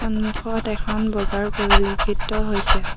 সন্মুখত এখন বজাৰ পৰিলক্ষিত হৈছে।